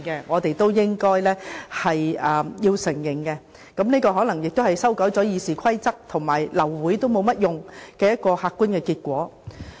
我們也應該承認，這可能亦是修改《議事規則》後，流會沒有作用的客觀結果。